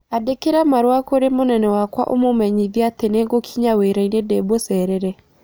Andĩka marũa kũrĩ mũnene wakwa ũmũmenyithie atĩ nĩ ngũkinyia wĩraĩnĩ ndĩ mũceree.